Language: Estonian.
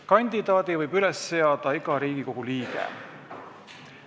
Kandidaadi võib üles seada iga Riigikogu liige.